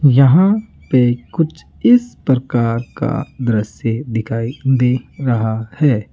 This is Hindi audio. यहां पे कुछ इस प्रकार का दृश्य दिखाई दे रहा है।